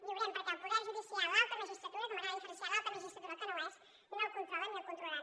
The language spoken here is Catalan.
viurem perquè el poder judicial l’alta magistratura que m’agrada diferenciar alta magistratura del que no ho és no el controlen ni el controlaran